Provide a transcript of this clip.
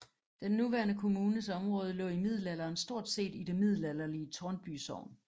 Den nuværende kommunes område lå i middelalderen stort set i det middelalderlige Tårnby sogn